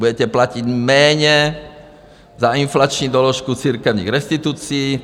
Budete platit méně za inflační doložku církevních restitucí.